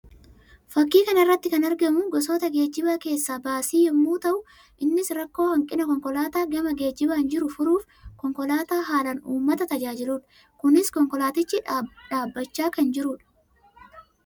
Fakkii kana irratti kan argamu gosoota geejjibaa keessaa baasii yammuu ta'u; innis rakkoo hanqina konkolaataa gama geejjibaan jiruu furuuf konkolaataa haalaan uummata tajaajiluu dha. Kunis konkolaatichi dhaabbachaa kan jiruu dha.